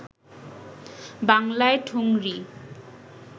বাংলায় ঠুংরি